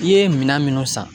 I ye minan minnu san